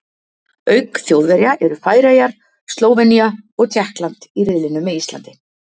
Auk Þjóðverja eru Færeyjar, Slóvenía og Tékkland í riðlinum með Íslandi.